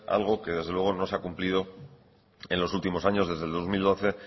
algo que desde luego no se ha cumplido en los últimos años desde el dos mil doce